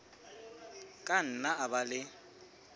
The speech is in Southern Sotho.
ka nna a ba le